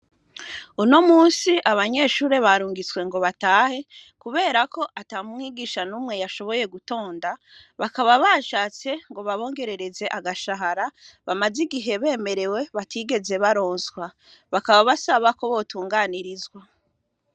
Uno musi abanyeshure barungitswe ngo batahe, kubera ko ata mwigisha n'umwe yashoboye gutonda bakaba bashatse ngo babongerereze agashahara bamaze igihe bemerewe batigeze baronswa bakaba basabako botunganirizwa.